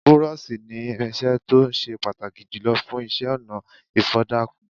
Búrọ́ọ̀ṣì ni irinṣẹ́ tó ó se pàtàkì jùlọ fún iṣẹ́-ọnà ìfọ̀dàkùn.